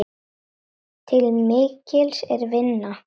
Til mikils er að vinna.